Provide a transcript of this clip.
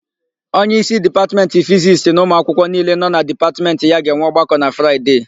Onyeísí Dipatmentị Fizisti na ụmụakwụkwọ niile nọ na Dipatmentị ya ga-enwe ọgbakọ na Fraịde.